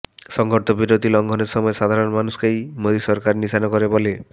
সংঘর্ষবিরতি লঙ্ঘনের সময়ে সাধারণ মানুষকেই মোদী সরকার নিশানা করে বলে